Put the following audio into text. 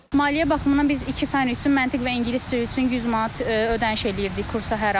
Maliyyə baxımından biz iki fənn üçün məntiq və ingilis dili üçün 100 manat ödəniş eləyirdik kursa hər ay.